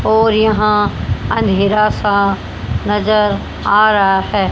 और यहां अंधेरा सा नजर आ रहा है।